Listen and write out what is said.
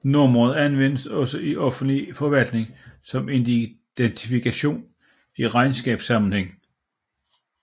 Nummeret anvendes også i offentlig forvaltning som identifikation i regnskabssammenhæng